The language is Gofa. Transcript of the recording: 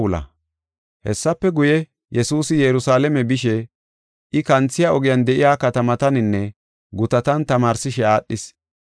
Hessafe guye, Yesuusi Yerusalaame bishe I kanthiya ogiyan de7iya katamataninne gutatan tamaarsishe aadhis.